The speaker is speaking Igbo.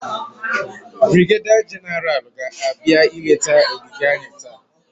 Brigeda Genaral ga-abịa ileta ogige anyị taa.